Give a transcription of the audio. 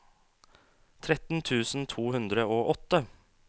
tretten tusen to hundre og åtte